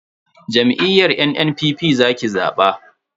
Jam'iyyar NNPP za ki zaba.